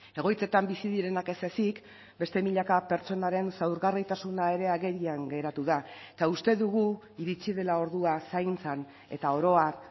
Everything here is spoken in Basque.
egoitzetan bizi direnak ez ezik beste milaka pertsonaren zaurgarritasuna ere agerian geratu da eta uste dugu iritsi dela ordua zaintzan eta oro har